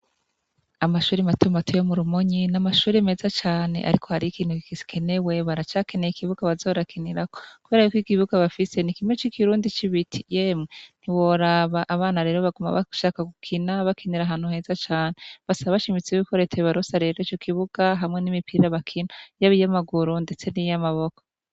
Amashuri mato mato yo mu Rumonyi, ni amashuri meza cane ariko hari ikintu gikenewe, baracakeneye ikibuga baza barakinirko kubera ko ikibuga bafise ni kimwe c'ikirundi c'ibiti, yemwe ntiworaba abana rero baguma bashaka gukina, bakinira ahantu heza cane, basaba bashimitse yuko Leta yobaronsa rero ico kibuga hamwe n'imipira bakina yaba iy'amaguru ndetse n'iy'amaboko.